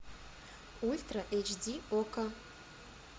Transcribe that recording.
ультра эйч ди окко